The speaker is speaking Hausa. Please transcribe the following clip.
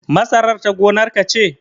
Masarar ta gonar ka ce?